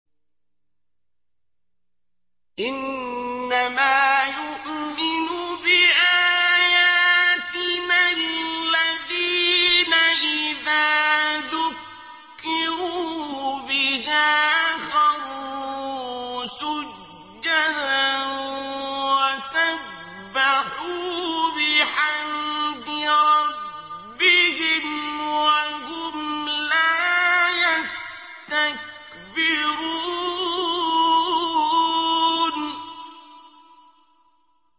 إِنَّمَا يُؤْمِنُ بِآيَاتِنَا الَّذِينَ إِذَا ذُكِّرُوا بِهَا خَرُّوا سُجَّدًا وَسَبَّحُوا بِحَمْدِ رَبِّهِمْ وَهُمْ لَا يَسْتَكْبِرُونَ ۩